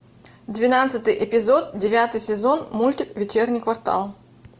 двенадцатый эпизод девятый сезон мультик вечерний квартал